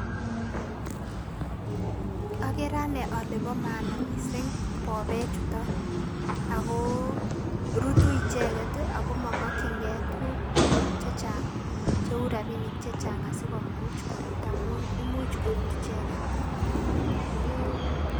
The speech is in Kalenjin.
Okeree anee olee boo maana mising bobechuton akoo rutuu icheket akoo momokying'e tukuk chechang cheuu rabinik chechang asikomuch korut amuun imuch korut icheket.